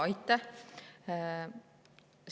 Aitäh!